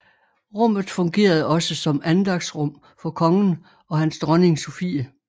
Rummet fungerede også som andagtsrum for kongen og hans dronning Sophie